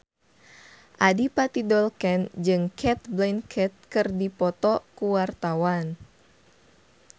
Adipati Dolken jeung Cate Blanchett keur dipoto ku wartawan